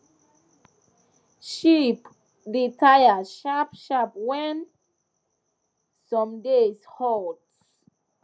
sheep da taya shap shap when some days hot